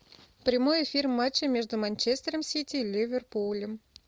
прямой эфир матча между манчестером сити и ливерпулем